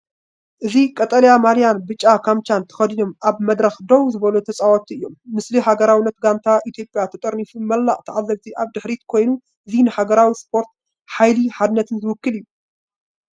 እዚ ቀጠልያ ማልያን ብጫ ካምቻን ተኸዲኖም ኣብ መድረኽ ደው ዝበሉ ተጻወትቲ እዮም። ምስሊ ሃገራዊት ጋንታ ኢትዮጵያ ተጠርኒፋ፡ መላእ ተዓዘብቲ ኣብ ድሕሪት ኮይኑ። እዚ ንሓዊ ስፖርትን ንሓይሊ ሓድነትን ዝውክል እዩ።